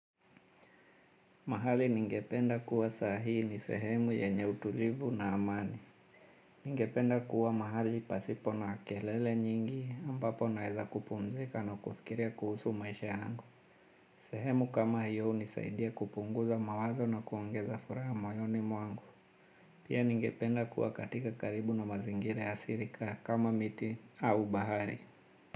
Mahali ningependa kuwa saa hii ni sehemu yenye utulivu na amani. Ningependa kuwa mahali pasipo na kelele nyingi ambapo naweza kupumzika na kufikiria kuhusu maisha yangu. Sehemu kama hiyo hunisaidia kupunguza mawazo na kuongeza furaha moyoni mwangu. Pia ningependa kuwa katika karibu na mazingira ya asili kama miti au bahari.